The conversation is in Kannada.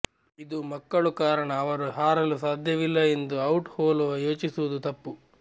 ಇದು ಮಕ್ಕಳು ಕಾರಣ ಅವರು ಹಾರಲು ಸಾಧ್ಯವಿಲ್ಲ ಎಂದು ಔಟ್ ಹೋಲುವ ಯೋಚಿಸುವುದು ತಪ್ಪು